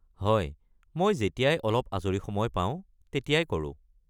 হয়, মই যেতিয়াই অলপ আজৰি সময় পাওঁ, তেতিয়াই কৰোঁ।